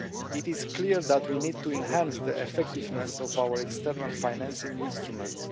It is clear that we need to enhance the effectiveness of our external financing instruments.